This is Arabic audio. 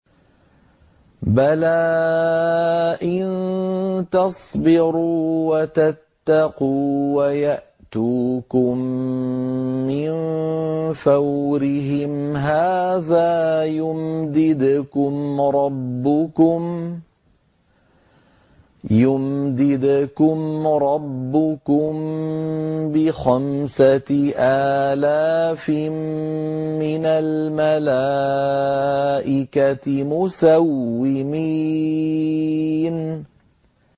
بَلَىٰ ۚ إِن تَصْبِرُوا وَتَتَّقُوا وَيَأْتُوكُم مِّن فَوْرِهِمْ هَٰذَا يُمْدِدْكُمْ رَبُّكُم بِخَمْسَةِ آلَافٍ مِّنَ الْمَلَائِكَةِ مُسَوِّمِينَ